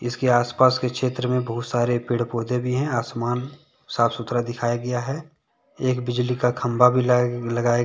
इसके आस पाश के क्षेत्र बहुत सारे पेड़ पौधे भी हैं आसामान साफ सुथरा दिखाया गया है एक बिजली का खंभा भी लगाया गया है।